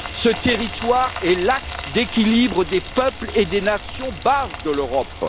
Ce territoire est l'axe d'équilibre des peuples et des nations, base de l'Europe.